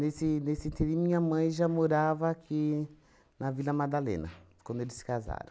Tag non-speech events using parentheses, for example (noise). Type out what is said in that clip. Nesse nesse, (unintelligible) minha mãe já morava aqui, na Vila Madalena, quando eles se casaram.